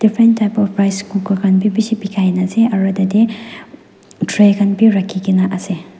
different types of press cooker khan be besi dikhai ase aru tray khan v rakhikina ase.